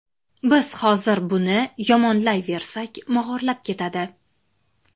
Biz hozir buni yomonlayversak, mog‘orlab ketadi.